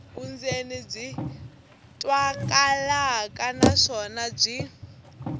vundzeni byi twakalaka naswona byi